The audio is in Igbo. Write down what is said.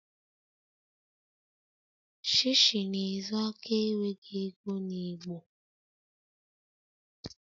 Shishi na-ezo aka enweghị ego na igbo..